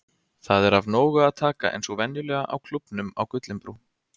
Það er af nógu að taka eins og venjulega á Klúbbnum á Gullinbrú.